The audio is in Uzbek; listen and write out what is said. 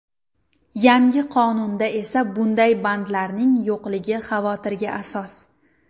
Yangi qonunda esa bunday bandlarning yo‘qligi xavotirga asos.